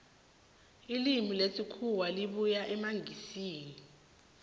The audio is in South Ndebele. ilimi lesikhuwa libuya emangisini